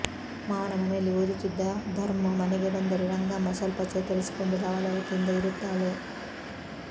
ಮಾವನ ಮನೆಯಲ್ಲಿ ಓದುತ್ತಿದ್ದ ಧರ್ಮು ಮನೆಗೆ ಬಂದರೆ ರಂಗಮ್ಮ ಸ್ವಲ್ಪ ಚೇತರಿಸಿಕೊಂಡು ಲವಲವಿಕೆಯಿಂದ ಇರುತ್ತಾಳೆ